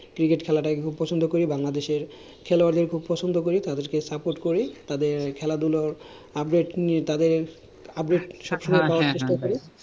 cricket খেলাটা কে খুব পছন্দ করি, বাংলাদেশের খেলোয়াড়দের খুব পছন্দ করি, তাদেরকে support করি, তাদের খেলাধুলোর update নিয়ে, তাদের update সব সময় নেয়ার চেষ্টা করি।